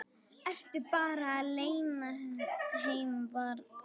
Ertu bara alein heima barn?